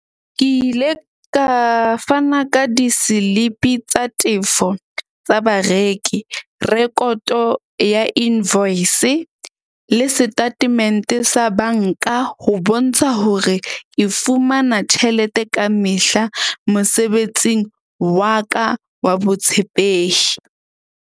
Ke ile ka fana ka diselipi tsa tefo tsa bareki, rekoto ya invoice le setatemente sa bank-a. Ho bontsha hore ke fumana tjhelete ka mehla mosebetsing wa ka wa botshepehi.